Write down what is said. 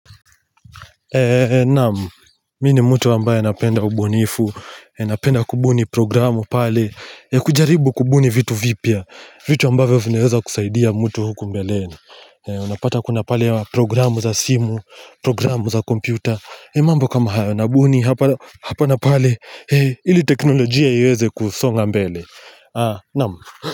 Naam, mimi ni mtu ambaye napenda ubunifu, napenda kubuni programu pale, kujaribu kubuni vitu vipya, vitu ambayvyo vineweza kusaidia mtu huku mbeleni Unapata kuna pale programu za simu, programu za kompyuta, mambo kama haya nabuni hapa napale, ili teknolojia iweze kusonga mbele, naam.